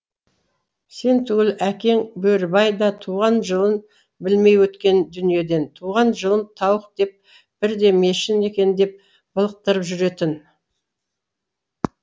сен түгіл әкең бөрібай да туған жылын білмей өткен дүниеден туған жылым тауық деп бірде мешін екен деп былықтырып жүретін